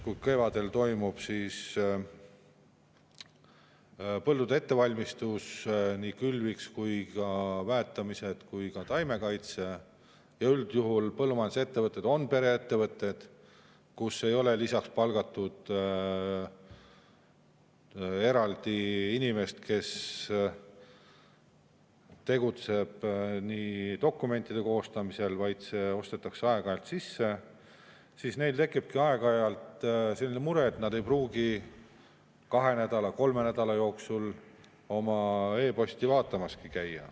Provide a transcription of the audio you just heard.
Kui kevadel toimub põldude ettevalmistus külviks, väetamised, taimekaitse – üldjuhul põllumajandusettevõtted on pereettevõtted, kus ei ole palgatud eraldi inimest, kes tegeleb dokumentide koostamisega, vaid see ostetakse aeg-ajalt sisse –, siis neil tekibki aeg-ajalt selline mure, et nad ei pruugi kahe nädala, kolme nädala jooksul oma e‑posti vaatamaski käia.